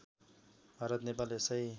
भारत नेपाल यसै